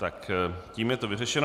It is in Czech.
Tak, tím je to vyřešeno.